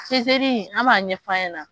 an b'a ɲɛ fɔ a ɲɛna.